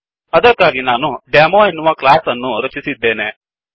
ಅದಕ್ಕಾಗಿ ನಾನುDemoಡೆಮೊ ಎನ್ನುವ ಕ್ಲಾಸ್ ಅನ್ನು ರಚಿಸಿದ್ದೇನೆ